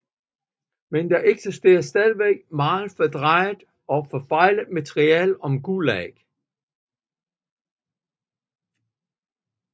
Men der eksisterer stadig meget fordrejet og forfejlet materiale om Gulag